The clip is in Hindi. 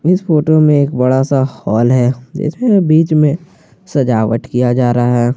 इस फोटो में एक बड़ा सा हाल है जिसमें बीच में सजावट किया जा रहा है।